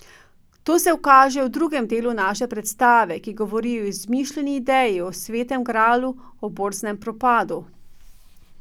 To se kaže v drugem delu naše predstave, ki govori o izmišljeni ideji o svetem gralu, o borznem propadu ...